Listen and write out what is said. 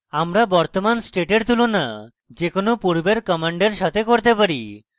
আমরা বর্তমান স্টেটের তুলনা যে কোনো পূর্বের কমান্ডের সাথে কিভাবে করি